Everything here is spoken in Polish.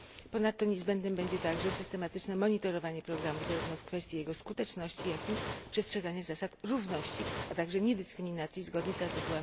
Ponadto niezbędne będzie także systematyczne monitorowanie programu zarówno w kwestii jego skuteczności jak i przestrzeganie zasad równości, a także niedyskryminacji zgodnie z art.